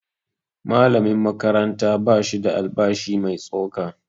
Malamin makaranta ba shi da albashi mai tsoka